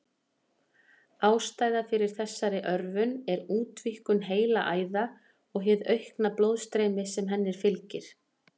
Ástæðan fyrir þessari örvun er útvíkkun heilaæða og hið aukna blóðstreymi sem henni fylgir.